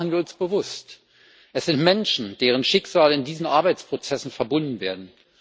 Machen wir uns bewusst Es sind Menschen, deren Schicksale in diesen Arbeitsprozessen verbunden werden.